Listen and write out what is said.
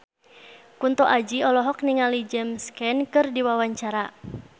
Kunto Aji olohok ningali James Caan keur diwawancara